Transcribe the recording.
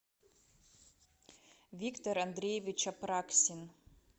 виктор андреевич апраксин